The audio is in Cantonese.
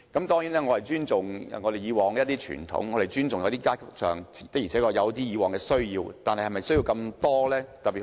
當然，我尊重以往的傳統，也尊重一些階級以往有那種需要，但是否需要那麼多用地？